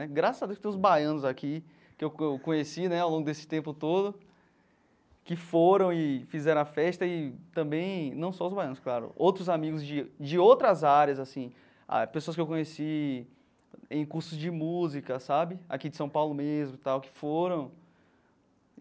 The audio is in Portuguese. É engraçado que tem os baianos aqui, que eu eu conheci né ao longo desse tempo todo, que foram e fizeram a festa e também, não só os baianos, claro, outros amigos de de outras áreas assim, pessoas que eu conheci em cursos de música sabe, aqui de São Paulo mesmo tal, que foram.